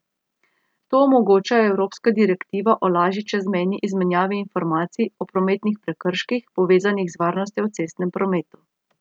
To omogoča evropska direktiva o lažji čezmejni izmenjavi informacij o prometnih prekrških, povezanih z varnostjo v cestnem prometu.